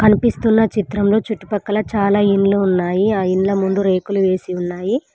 కనిపిస్తున్న చిత్రంలో చుట్టుపక్కల చాలా ఇండ్లు ఉన్నాయి ఆ ఇండ్ల ముందు రేకులు వేసి ఉన్నాయి.